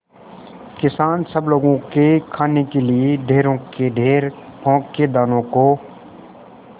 किसान सब लोगों के खाने के लिए ढेरों के ढेर पोंख के दानों को